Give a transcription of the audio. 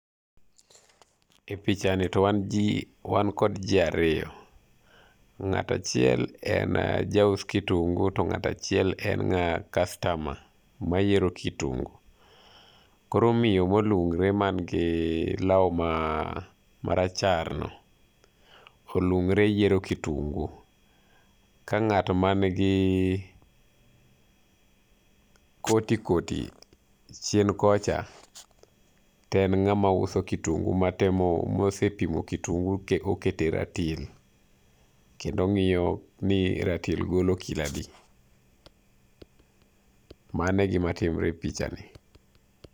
E picha ni to wan ji, wan kod ji ariyo, ng'ato achiel en jaus kitungu to ng'ato ahiel en custiomer mayiero kitungu. Koro miyo molung're man gi law ma maracharno olung're yiero kitungu. Ka ng'at man gi koti koti chien kocha to en ng'ama uso kitungu matemo mosepimo kitun gu oketo e ratil kendo ong'iyo ni ratil golo kilo adi. Mano e gima timre a pichani.